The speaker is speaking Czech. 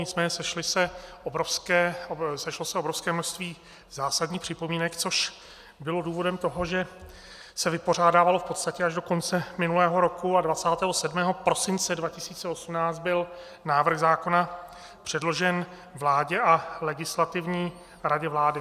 Nicméně sešlo se obrovské množství zásadních připomínek, což bylo důvodem toho, že se vypořádávalo v podstatě až do konce minulého roku, a 27. prosince 2018 byl návrh zákona předložen vládě a Legislativní radě vlády.